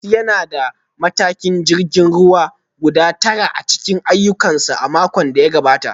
Sanusi yana da mataimakan jirgin ruwa guda tara a cikin ayyukansa a makon da ya gabata